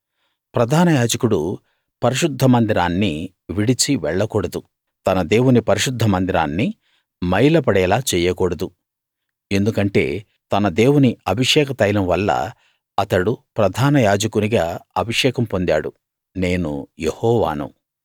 ప్రధానయాజకుడు పరిశుద్ధమందిరాన్ని విడిచి వెళ్లకూడదు తన దేవుని పరిశుద్ధ మందిరాన్ని మైల పడేలా చెయ్యకూడదు ఎందుకంటే తన దేవుని అభిషేక తైలం వల్ల అతడు ప్రధాన యాజకునిగా అభిషేకం పొందాడు నేను యెహోవాను